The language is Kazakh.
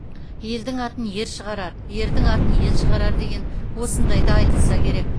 елдің атын ер шығарар ердің атын ел шығарар деген осындайға айтылса керек